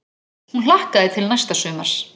Hún hlakkaði til næsta sumars.